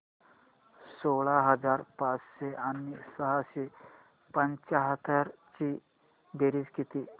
सोळा हजार पाचशे आणि सहाशे पंच्याहत्तर ची बेरीज किती